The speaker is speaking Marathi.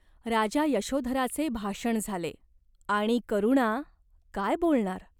राजा यशोधराचे भाषण झाले. आणि करुणा काय बोलणार !